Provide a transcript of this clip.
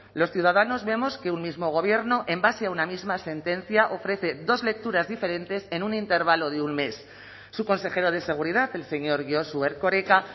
los ciudadanos vemos que un mismo gobierno en base a una misma sentencia ofrece dos lecturas diferentes en un intervalo de un mes su consejero de seguridad el señor josu erkoreka